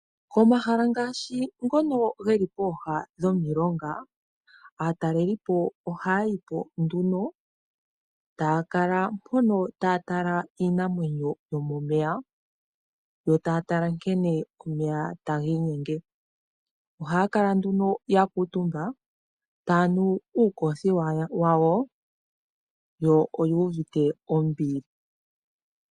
Komahala ngaashi ngono geli pooha dhomilonga aatalelipo ohaya yipo nduno taya kala mpono taya tala iinamwenyo yomomeya yo, taya tala nkene omeya taga inyenge, ohaya kala nduno ya kuutumba taya nu uukothiwa wawo yo oyu uvite ombili.